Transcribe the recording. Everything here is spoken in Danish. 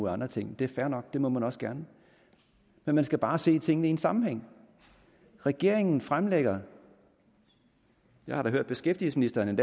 andre ting det er fair nok det må man også gerne men man skal bare se tingene i en sammenhæng regeringen fremlægger jeg har da hørt beskæftigelsesministeren